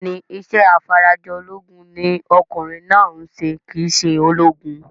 Bẹ́ẹ̀ni, isẹ́ afarajolúgun ní okùnrin náà ń se kìí se ológun